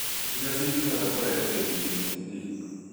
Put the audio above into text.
iria cingĩhota kũrehe ADHD